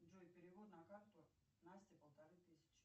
джой перевод на карту настя полторы тысячи